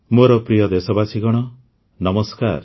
ମୋର ପ୍ରିୟ ଦେଶବାସୀଗଣ ନମସ୍କାର